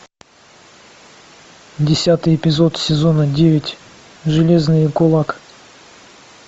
десятый эпизод сезона девять железный кулак